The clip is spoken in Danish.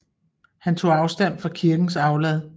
Han tog afstand fra kirkens aflad